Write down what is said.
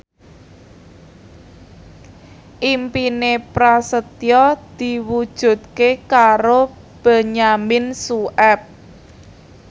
impine Prasetyo diwujudke karo Benyamin Sueb